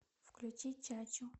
включи чачу